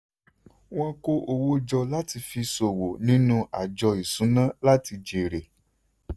Wọ́n kó owó jọ láti fi ṣòwò nínú àjọ ìṣúná láti jèrè.